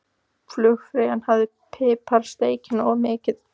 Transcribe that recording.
Flugfreyjan hafði piprað steikina of mikið.